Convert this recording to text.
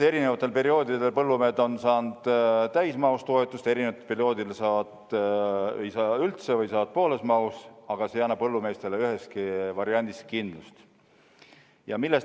Erinevatel perioodidel on põllumehed saanud kas täismahus toetust, ei ole üldse saanud või on saanud ainult pooles mahus, aga see ei anna põllumeestele üheski variandis kindlust.